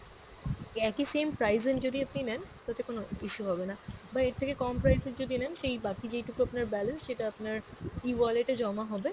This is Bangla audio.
একই same price এর যদি আপনি নেন তাতে কোনো issue হবে না, বা এর থেকে কম price এর যদি নেন সেই বাকি যেইটুকু আপনার balance সেটা আপনার E-wallet এ জমা হবে,